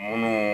Munnu